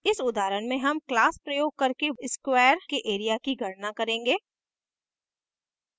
इस उदाहरण में हम class प्रयोग करके वर्ग के area की गणना करेंगे